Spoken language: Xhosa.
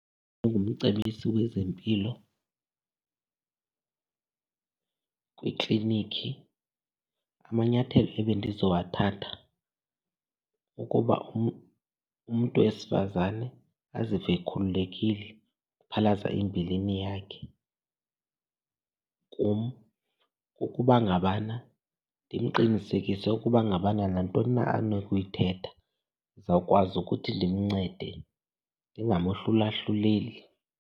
Ndingumcebisi wezempilo kwiiklinikhi amanyathelo ebendizowathatha kukuba umntu wesifazane azive ekhululekile ukuphalaza imbilini yakhe kum. Ukuba ngabana, ndimqinisekise ukuba ngabana nantoni na anokuyithetha ndizawukwazi ukuthi ndimncede, ndingamohlulahluleli.